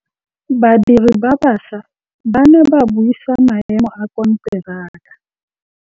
Badiri ba baša ba ne ba buisa maêmô a konteraka.